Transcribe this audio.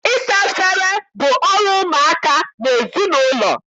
Ịsa efere bụ ọrụ ụmụaka n'ezinaụlọ.